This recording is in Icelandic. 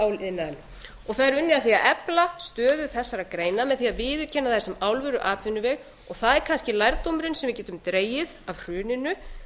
áliðnaðinn og það er unnið að því að efla stöðu þessara greina með því að viðurkenna þær sem alvöruatvinnuveg og það er kannski lærdómurinn sem við getum dregið af hruninu